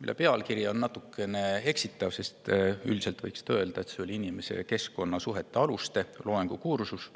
Selle pealkiri oli natukene eksitav, sest üldiselt oli see inimese ja keskkonna suhete aluste loengukursus,